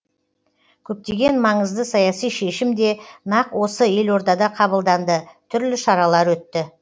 көптеген маңызды саяси шешім де нақ осы елордада қабылданды түрлі шаралар өтті